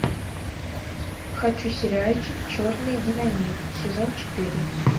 хочу сериальчик черный динамит сезон четыре